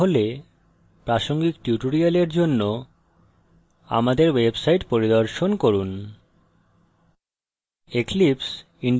না হলে প্রাসঙ্গিক tutorial জন্য আমাদের website পরিদর্শন করুন